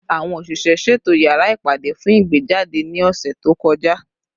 Awọn oṣiṣẹ, ṣeto yara ipade fun igbejade ni ọsẹ to kọja